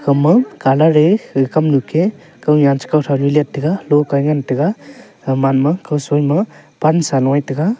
ema colour e ga kamnu ke kawnyan che kawtho ni leit taiga lokae ngan taiga aman ma kaw soima pansa loe tega.